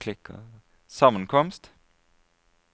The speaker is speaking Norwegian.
sammenkomst